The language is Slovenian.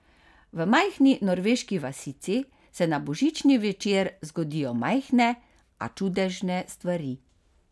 V majhni norveški vasici se na božični večer zgodijo majhne, a čudežne stvari.